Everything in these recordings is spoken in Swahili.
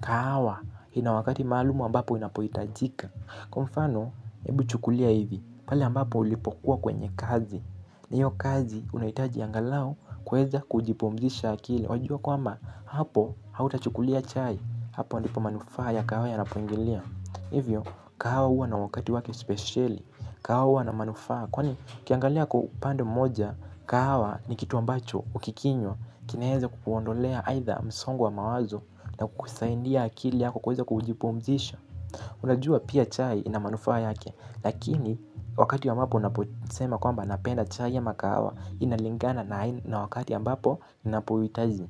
Kahawa, ina wakati maalumu ambapo inapohitajika. Kwa mfano, hebu chukulia hivi pale ambapo ulipokuwa kwenye kazi na hiyo kazi, unaitaji angalau kuweza kujipumzisha akili. Wajua kwamba, hapo, hautachukulia chai. Hapo ndipo manufaa ya kahawa yanapoingilia. Hivyo, kahawa huwa na wakati wake speseli. Kahawa huwa na manufaa. Kwani ukiangalia kwa upande mmoja kahawa ni kitu ambacho ukikinywa kinaweza kukuondolea haitha msongo wa mawazo na kukusaidia akili yako kuweza kujipumzisha. Unajua pia chai ina manufaa yake lakini wakati ya mbapo unaposema kwamba napenda chai ama kahawa inalingana na wakati ya ambapo ninapohuitaji.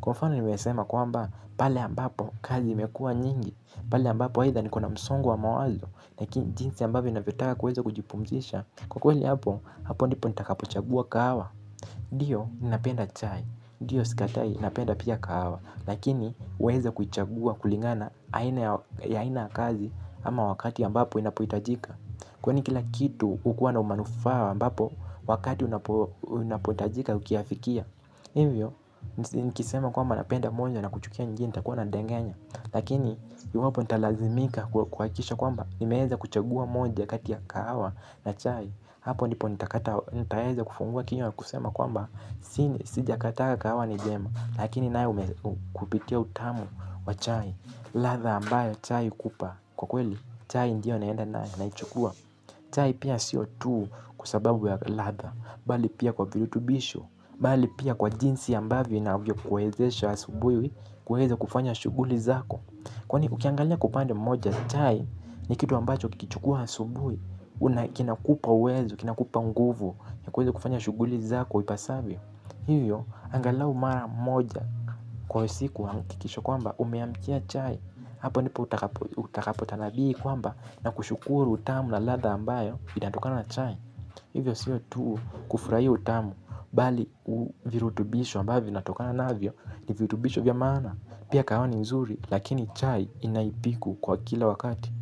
Kwa mfano nimesema kwamba pale ambapo kazi imekuwa nyingi pale a mbapo haitha nikona msongo wa mawazo. Lakini jinsi ambavyo ninavyotaka kuweza kujipumzisha. Kwa kweli hapo, hapo ndipo nitakapochagua kahawa ndio, ninapenda chai ndoyo, sikatai, napenda pia kahawa. Lakini, huweza kuichagua kulingana na aina ya aina kazi ama wakati ambapo inapohitajika. Kwani kila kitu ukuwa na umanufaa ambapo wakati unapohitajika ukiafikia. Hivyo, nikisema kwamba napenda monja na kuchukia nyingine nitakuwa nandanganya. Lakini, iwapo nitalazimika kuhakisha kwamba nimeweza kuchagua moja kata ya kahawa na chai. Hapo ndipo nitakata. Nitawezaa kufungua kinywa na kusema kwamba sijakata kahawa ni njema. Lakini naye umehupitia utamu wa chai. Ladha ambayo chai hukupa kwa kweli chai ndiyo naenda nayo naichukua. Chai pia sio tuu kwa sababu ya latha mbali pia kwa virutubisho mbali pia kwa jinsi ambavyo inavyokuwezesha asubuhi kuweza kufanya shughuli zako. Kwani ukiangalia kwa upande mmoja chai ni kitu ambacho ukikichukua asubuhi kinakupa uwezo, kinakupa nguvu ya kuweza kufanya shughuli zako ipasavyo. Hiyo, angalau mara moja kwa siku hakikisha kwamba umeamkia chai. Hapo ndipo utakapotanabii kwamba na kushukuru utamu na latha ambayo inatokanaa na chai. Hivyo siyo tu kufurahia utamu mbali virutubisho ambavyo vinatokana navyo. Ni virutubisho vya maana. Pia kahawa ni nzuri. Lakini chai inaipiku kwa kila wakati.